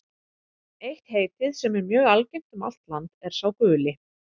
Eitt heitið, sem er mjög algengt um allt land, er sá guli.